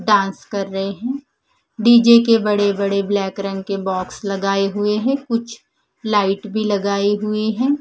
Dance कर रहे हैं डी_जे के बड़े बड़े ब्लैक रंग के बॉक्स लगाए हुए है कुछ लाइट भी लगाई हुई है।